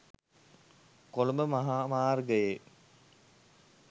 කොළඹ මහා මාර්ගයේ